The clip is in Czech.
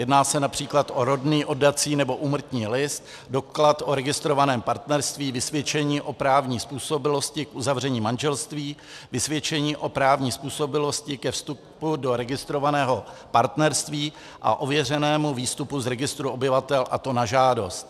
Jedná se například o rodný, oddací nebo úmrtní list, doklad o registrovaném partnerství, vysvědčení o právní způsobilosti k uzavření manželství, vysvědčení o právní způsobilosti ke vstupu do registrovaného partnerství a ověřenému výstupu z registru obyvatel, a to na žádost.